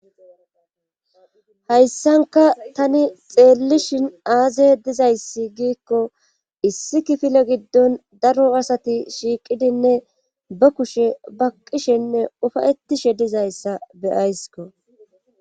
hayssanka tani xeellishin aaze dizayssi giikko issi kifile giddon daro asati shiiqidinne ba kushe baqqishenne ufayetishe dizayssa beyaysko